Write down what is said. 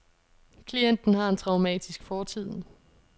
Klienten har en traumatisk fortid.